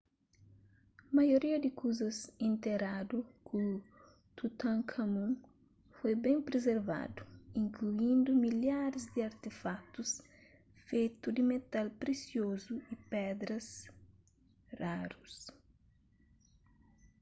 maioria di kuzas interadu ku tutankhamun foi ben prizervadu inkluindu milharis di artefakutus fetu di metal presiozu y pedras rarus